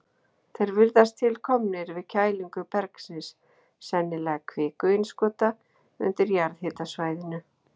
Þeir virðast til komnir við kælingu bergsins, sennilega kvikuinnskota, undir jarðhitasvæðinu.